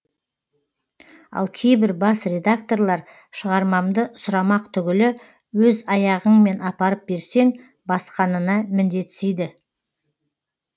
ал кейбір бас редакторлар шығармамды сұрамақ түгілі өз аяғыңмен апарып берсең басқанына міндетсиді